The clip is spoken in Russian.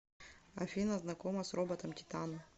афина знакома с роботом титан